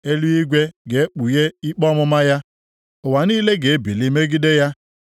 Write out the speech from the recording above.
Eluigwe ga-ekpughe ikpe ọmụma ya ụwa niile ga-ebili megide ya.